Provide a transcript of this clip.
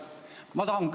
Aitäh!